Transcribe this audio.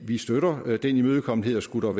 vi støtter den imødekommenhed og skulle